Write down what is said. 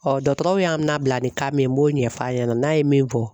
dɔgɔtɔrɔw y'a minɛ bila ni kan min b'o ɲɛf'a ɲɛna n'a ye min fɔ.